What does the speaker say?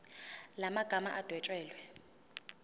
la magama adwetshelwe